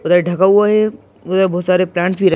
उधर ढका हुआ है उधर बहुत सारे प्लांट्स भी--